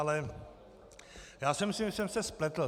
Ale já si myslím, že jsem se spletl.